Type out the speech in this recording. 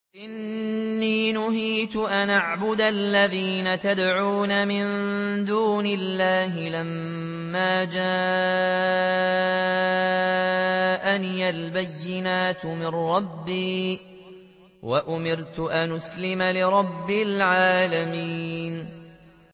۞ قُلْ إِنِّي نُهِيتُ أَنْ أَعْبُدَ الَّذِينَ تَدْعُونَ مِن دُونِ اللَّهِ لَمَّا جَاءَنِيَ الْبَيِّنَاتُ مِن رَّبِّي وَأُمِرْتُ أَنْ أُسْلِمَ لِرَبِّ الْعَالَمِينَ